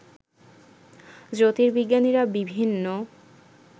জ্যোতির্বিজ্ঞানীরা বিভিন্ন